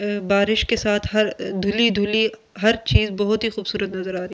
अ बारिश के साथ हर अ धुली-धुली हर चीज बहुत ही खूबसूरत नजर आ रही --